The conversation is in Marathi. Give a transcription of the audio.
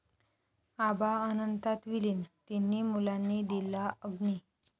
आबा अनंतात विलीन, तिन्ही मुलांनी दिला अग्नी